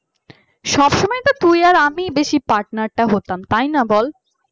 সব সময় তো তুই আর আমি বেশি পার্টনার তাই না বল তাই না বল